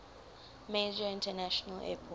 major international airport